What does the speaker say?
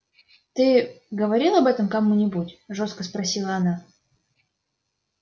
ты говорил об этом кому-нибудь жёстко спросила она